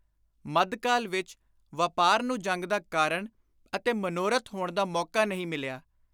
. ਮੱਧਕਾਲ ਵਿਚ ਵਾਪਾਰ ਨੂੰ ਜੰਗ ਦਾ ਕਾਰਣ ਅਤੇ ਮਨੋਰਥ ਹੋਣ ਦਾ ਮੌਕਾ ਨਹੀਂ ਮਿਲਿਆ।